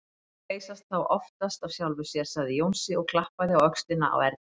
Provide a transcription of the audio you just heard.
Málin leysast þá oftast af sjálfu sér, sagði Jónsi og klappaði á öxlina á Erni.